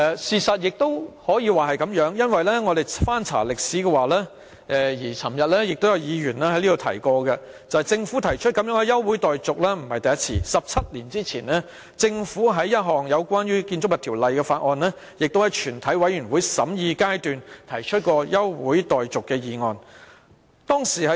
事實上亦可以這樣說，因為我們翻查紀錄，政府不是第一次提出這樣的休會待續議案 ，17 年前政府也曾就一項關於《建築物條例》的法案，在全體委員會審議階段提出休會待續議案。